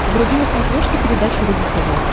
вруби на смотрешке передачу рубль тв